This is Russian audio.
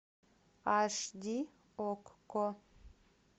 аш ди окко